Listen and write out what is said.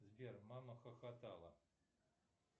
сбер мама хохотала